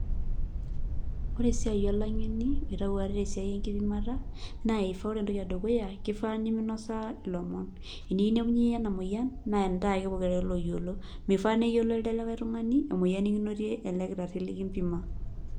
Ore esia olangeni oitau ate tesiai enkipimata naa ore entoki edukuya naa keifaa neimeinosaa ilomon, tenikinepunye iyie ena moyian naa ntae ake pokira are naayiolo meifaa neyiolo elde likae tungani emoyian nikinotie elde kitari likimpimo.